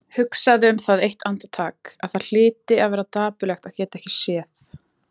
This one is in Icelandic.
Hugsaði um það eitt andartak að það hlyti að vera dapurlegt að geta ekki séð.